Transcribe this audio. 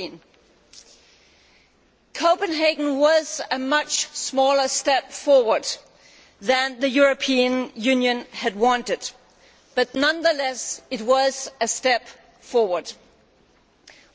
15. Copenhagen was a much smaller step forward than the European Union had wanted but, nonetheless, it was a step forward.